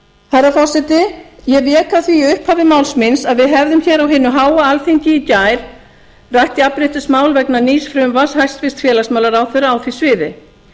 herra forseti ég vék að því í upphafi máls míns að við hefðum hér á hinu háa alþingi í gær rætt jafnréttismál vegna nýs frumvarps hæstvirts félagsmálaráðherra á því sviði